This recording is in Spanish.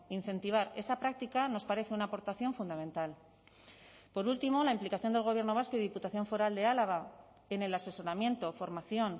incentivar esa práctica nos parece una aportación fundamental por último la implicación del gobierno vasco y diputación foral de álava en el asesoramiento formación